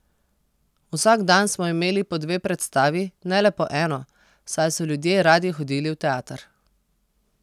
Vsak dan smo imeli po dve predstavi, ne le po eno, saj so ljudje radi hodili v teater.